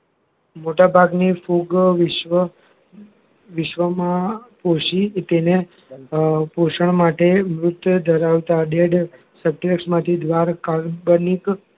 મોટાભાગની ફૂગ વિશ્વ વિશ્વમાં પોષી તેને પોષણ માટે મૃત ધરાવતા dead સ્ટેયક્ષ માંથી દ્વાર કાલ્પનિક